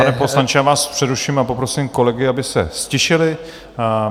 Pane poslanče, já vás přeruším a poprosím kolegy, aby se ztišili.